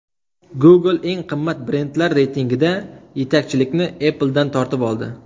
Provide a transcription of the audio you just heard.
Google eng qimmat brendlar reytingida yetakchilikni Apple’dan tortib oldi.